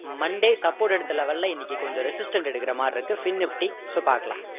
monday support எடுத்த level ல இன்னைக்கு கொஞ்சம் resistant எடுக்கிற மாதிரி இருக்கு fin nifty so பாக்கலாம்